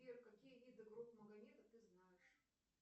сбер какие виды гроб магомеда ты знаешь